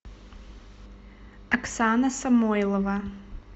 оксана самойлова